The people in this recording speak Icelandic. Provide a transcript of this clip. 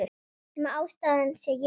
Nema ástæðan sé ég.